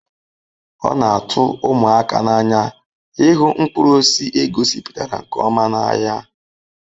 O na atu umụaka n'anya ịhụ mkpụrụ osisi egosipụtara nke ọma n'ahịa